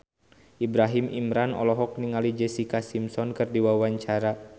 Ibrahim Imran olohok ningali Jessica Simpson keur diwawancara